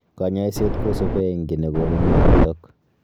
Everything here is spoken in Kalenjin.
Kanyaiset kosubee eng ki negonu myonotok